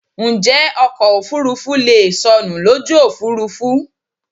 Njẹ́ ọkọ̀ òfurufú leè sọnù lójú òfúrufú?